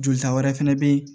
Jolita wɛrɛ fɛnɛ bɛ ye